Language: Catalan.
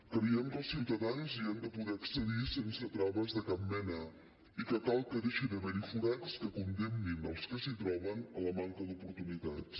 creiem que els ciutadans hi hem de poder accedir sense traves de cap mena i que cal que deixi d’haver hi forats que condemnin els que s’hi troben a la manca d’oportunitats